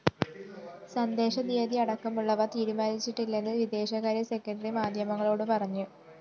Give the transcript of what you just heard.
സന്ദര്‍ശന date അടക്കമുള്ളവ തീരുമാനിച്ചിട്ടില്ലെന്ന് വിദേശകാര്യ സെക്രട്ടറി മാധ്യമങ്ങളോട് പറഞ്ഞു